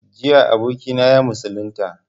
Jiya abokina ya musulunta